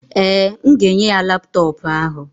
Ee, m ga-enye ya laptọọpụ ahụ.